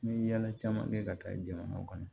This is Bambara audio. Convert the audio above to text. N ye yala caman kɛ ka taa jamana kɔnɔ